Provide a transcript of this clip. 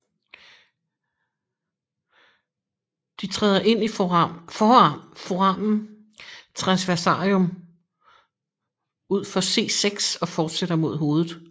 De træder ind i foramen transversarium ud for C6 og fortsætter mod hovedet